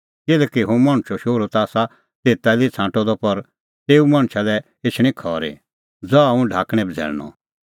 किल्हैकि हुंह मणछो शोहरू ता आसा तेता लै ई छ़ांटअ द पर तेऊ मणछा लै एछणी खरी ज़हा हुंह ढाकणैं बझ़ैल़णअ